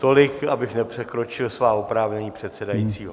Tolik, abych nepřekročil svá oprávnění předsedajícího.